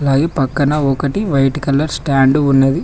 పై పక్కన ఒకటి white colour stand ఉన్నది.